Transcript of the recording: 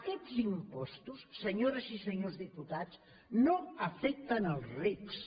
aquests impostos senyores i senyors diputats no afecten els rics